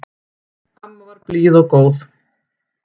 Amma var blíð og góð.